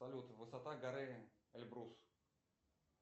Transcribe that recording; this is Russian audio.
салют высота горы эльбрус